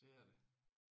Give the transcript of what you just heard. Det er det